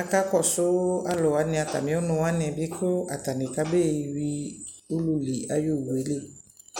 aka kɔsʋ alʋ wanι atamι ɔnʋ wanι bι kʋ atanι kabee yui ululi ayι owu yɛ li